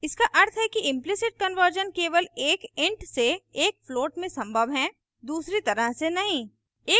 इसका अर्थ है कि implicit conversion केवल एक int से एक float में संभव है दूसरी तरह से नहीं